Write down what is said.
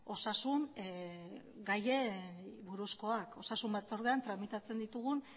osasun batzordean tramitatzen ditugun